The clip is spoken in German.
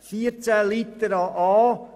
In Artikel 14 Absatz 4